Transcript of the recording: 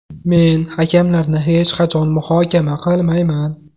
Men hakamlarni hech qachon muhokama qilmayman.